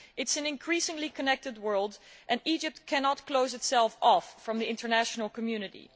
It is an increasingly connected world, and Egypt cannot close itself off from the international community.